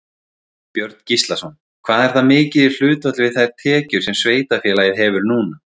Björn Gíslason: Hvað er það mikið í hlutfalli við þær tekjur sem sveitarfélagið hefur núna?